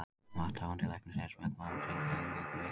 Vakthafandi Læknir er smekkmaður og drekkur eingöngu vígt vatn.